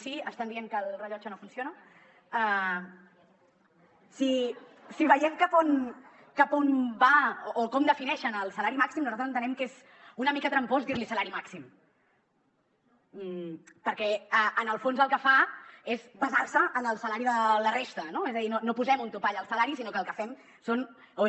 si veiem cap on va o com defineixen el salari màxim nosaltres entenem que és una mica trampós dir li salari màxim perquè en el fons el que fa és basar se en el salari de la resta no és a dir no posem un topall al salari sinó que el que fem és